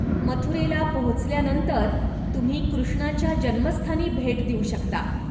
मथुरेला पोहोचल्यानंतर तुम्ही कृष्णाच्या जन्मस्थानी भेट देऊ शकता.